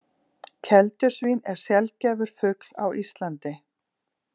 Keldusvín er sjaldgæfur fugl á Íslandi